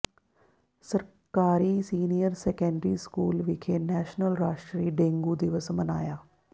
ਸਰਕਾਰੀ senior secondary school ਵਿਖੇ national ਰਾਸ਼ਟਰੀ ਡੇਂਗੂ ਦਿਵਸ ਮਨਾਇਆ